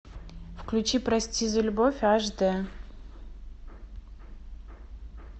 включи прости за любовь аш д